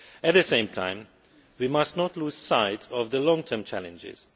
At the same time, we must not lose sight of the long term challenges.